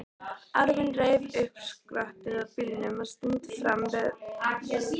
Afinn reif upp skottið á bílnum og tíndi fram veiðistangir.